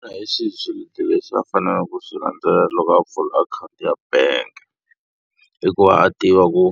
Xana hi swihi swiletelo leswi a faneleke ku swi landzelela loko a pfula akhawunti ya bank? I ku va a tiva ku